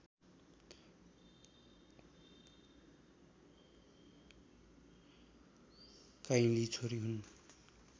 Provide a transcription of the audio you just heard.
काइँली छोरी हुन्